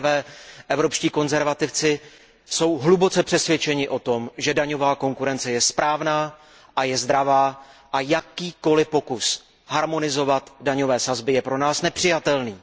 Za prvé, Evropští konzervativci jsou hluboce přesvědčeni o tom, že daňová konkurence je správná a je zdravá, a jakýkoliv pokus harmonizovat daňové sazby je pro nás nepřijatelný.